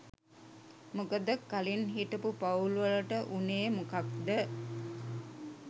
මොකද කලින් හිටපු පවුල් වලට උනේ මොකද්ද